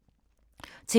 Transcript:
TV 2